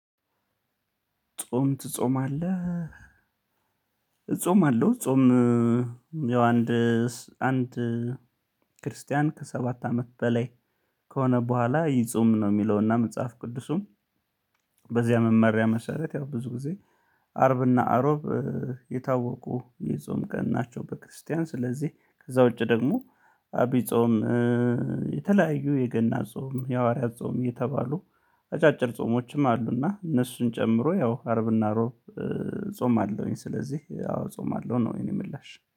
ጾም ትጾማለህ? እጾማለሁ። ጾም ያው አንድ አንድ ክርስቲያን ከሰባት አመት በላይ ከሆነ በኋላ ይጾም ነው። የሚለውና መጽሐፍ ቅዱሱም በዚያ መማሪያ መሰረት ያው ብዙ ጊዜ አርብና አሮብ የታወቁ የጾም ቀን ናቸው። በክርስቲያን ስለዚህ ከዛ ውጪ ደግሞ አብይ ጾም የተለያዩ የገና ጾም የሐዋርያት ጾም የተባሉ አጫጭር ጾሞችም አሉና እነሱን ጨምሮ ያው አርብና እሮብ እጾምአለሁኝ። ስለዚህ ያው ጾም አለው ነው የኔ ምላሽ